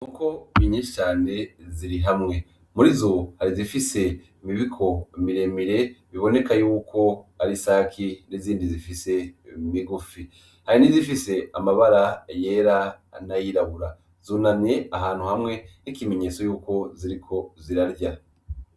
Inkoko nyishi cane ziri hamwe murizo hari izifise imibiko miremire biboneka yuko ari isake n'izindi zifise imigufi hari nizifise amabara yera n'ayirabura zunamye ahantu hamwe nkikimenyetso yuko ziriko zirarya .